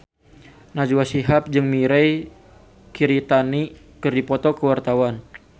Najwa Shihab jeung Mirei Kiritani keur dipoto ku wartawan